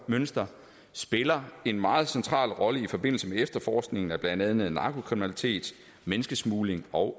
spiller en meget central rolle i forbindelse med efterforskning af blandt andet narkokriminalitet menneskesmugling og